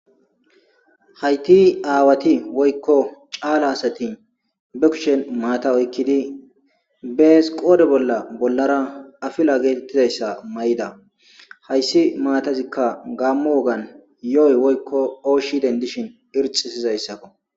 hayti aawati woykko caala asati be kushen maata oykkidi bees qoodhe bolla bollara afila getettizayssa mayida hayssi maatazikka gammo wogan yo'oy woykko oshi dendishin irxisizayssakko